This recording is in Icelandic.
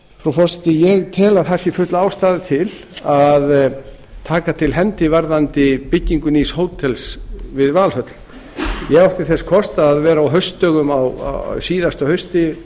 frú forseti ég tel að það sé full ástæða til að taka til hendi varðandi byggingu nýs hótels við valhöll ég átti þess kost að vera á haustdögum á síðasta hausti